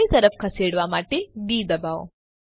જમણી તરફ ખસેડવા માટે ડી દબાવો